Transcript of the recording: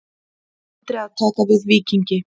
Andri að taka við Víkingi